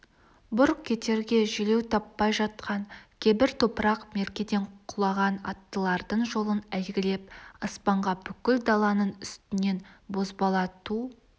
бұрқ етерге желеу таппай жатқан кебір топырақ меркеден құлаған аттылардың жолын әйгілеп аспанға бүкіл даланың үстінен бозбала ту